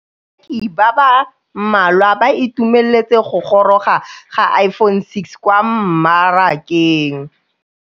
Bareki ba ba malwa ba ituemeletse go gôrôga ga Iphone6 kwa mmarakeng.